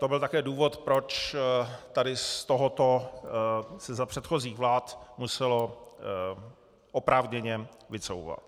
To byl také důvod, proč tady z tohoto se za předchozích vlád muselo oprávněně vycouvat.